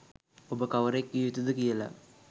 ඔබ කවරෙක් විය යුතු ද කියලා.